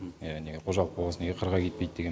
иә неге қожалық болғасын неге қырға кетпейді деген